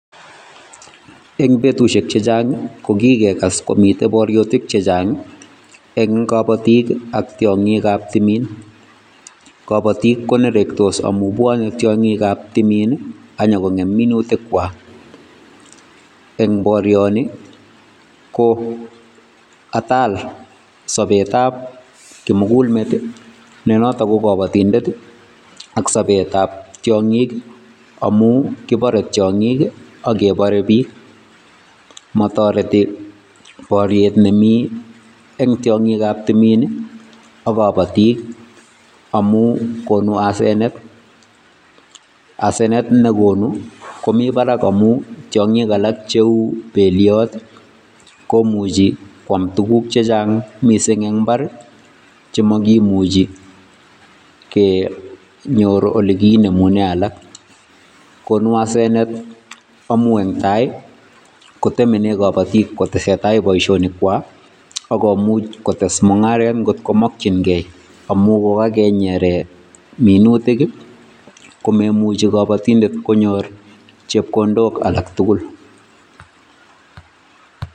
Eng betusiek chechang ko kikekas komitei boriotik chechang eng kabatik ak tiongikab timin, kabatik koneroktos amun bwoni tiongikab timin anyokongem minutikwai. Eng borioni ko atal sobetab kimugul meet nenoto ko kabatindet ak sobetab tiongik amun kibarei tiongik ake barei biik. Matoreti boriet nemi eng tiongikab timin ak kabatik amun konu asenet, asenet ne konu komi barak amun tiongik alak cheu beliot komuchi kwaam tuguk chechang mising eng imbaar chemakimuchi kenyor ole kinemunen alak. Konu asenet amun eng tai kotemene kabatik kotesetai boisionikwai ako much kotes mungaret ngotko makchinkei amun kokanyere minutik komaimuchi kabatindet konyor chepkondok alak tugul.